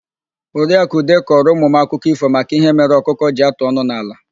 Oriakụ Ude kọrọ ụmụ m akụkọ ífò maka ihe mere ọkụkọ ji atụ ọnụ n'ala.